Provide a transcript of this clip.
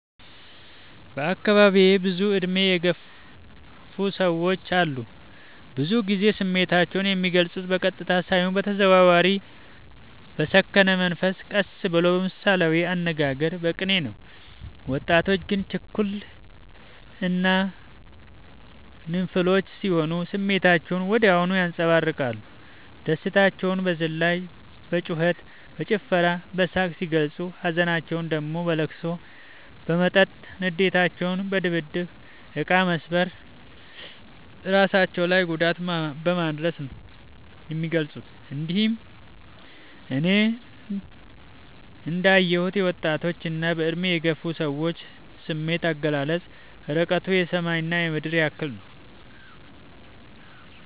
በአካባቢዬ ብዙ እድሜ የገፉ ሰዎች አሉ። ብዙ ግዜ ስሜታቸው የሚልፁት በቀጥታ ሳይሆን በተዘዋዋሪ በሰከነ መንፈስ ቀስ ብለው በምሳሌያዊ አነጋገር በቅኔ ነው። ወጣቶች ግን ችኩል እና ግንፍሎች ስሆኑ ስሜታቸውን ወዲያው ያንፀባርቃሉ። ደስታቸውን በዝላይ በጩከት በጭፈራ በሳቅ ሲገልፁ ሀዘናቸውን ደግሞ በለቅሶ በመጠጥ ንዴታቸውን በድብድብ እቃ መሰባበር እራሳቸው ላይ ጉዳት በማድረስ ነው የሚገልፁት። እንግዲህ እኔ እንዳ የሁት የወጣቶች እና በእድሜ የገፉ ሰዎች ስሜት አገላለፅ እርቀቱ የሰማይ እና የምድር ያህል ነው።